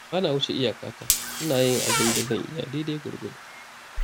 Ba na wuce iyakata, ina yin abin da zan iya daidai gwargwado.